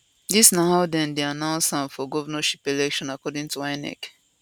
dis na how dem dey announce am for govnorship election according to inec